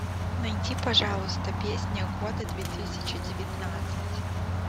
найди пожалуйста песня года две тысячи девятнадцать